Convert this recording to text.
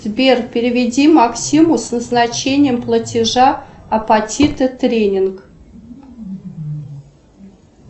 сбер переведи максиму с назначением платежа апатиты тренинг